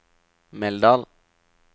Meldal